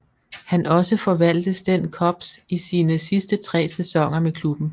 Han også forvaltes den Cubs i sine sidste tre sæsoner med klubben